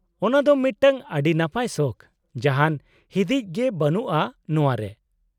-ᱚᱱᱟᱫᱚ ᱢᱤᱫᱴᱟᱝ ᱟᱹᱰᱤ ᱱᱟᱯᱟᱭ ᱥᱚᱠᱷ, ᱡᱟᱦᱟᱱ ᱦᱤᱫᱤᱡ ᱜᱮ ᱵᱟᱱᱩᱜᱼᱟ ᱱᱚᱶᱟ ᱨᱮ ᱾